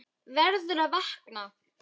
Verður að vakna.